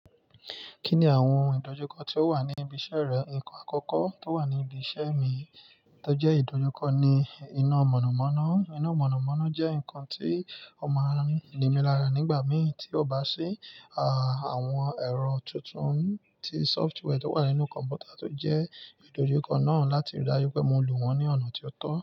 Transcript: Kí ni àwọn ìdojúkọ tó wà ní ibi iṣẹ́ rẹ? Nǹkan àkọ́kọ́ tó wà ní ibi iṣẹ́ mi tó jẹ́ ìdojúkọ ni iná mọ̀nàmọ́ná. Iná mọ̀nàmọ́ná jẹ́ nǹkan tí ó máa ń nimí lára nígbà mìí tí ó bá ṣí. À, àwọn ẹ̀rọ tuntun tí software tó wà nínú kọ̀m̀pútà tó jẹ́ ìdojúkọ náà láti rí dájú pé mo lò wọ́n ní ọ̀nà tí ó tọ́.